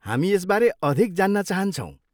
हामी यसबारे अधिक जान्न चाहन्छौँ।